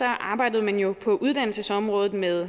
arbejdede man jo på uddannelsesområdet med